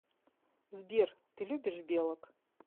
сбер ты любишь белок